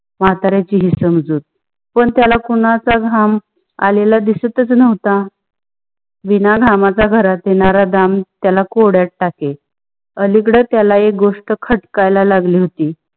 मंत्ऱ्याची हीच समझुक, पान त्याला कोणाच्या घाम आलेला दिसतस नव्हता. बिना घाम च्या घरात येणार दाम त्याला कोड्यात टाके, अलीकडे त्याला एक गोष्ट खटकायला लागली होती.